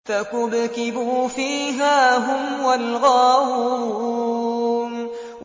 فَكُبْكِبُوا فِيهَا هُمْ وَالْغَاوُونَ